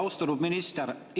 Austatud minister!